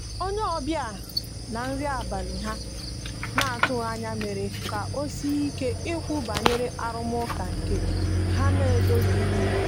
onye obia na nri abali ha na atughi anya ya mere ka osie ike ikwu banyere arụmaka nke ha na edozilighi.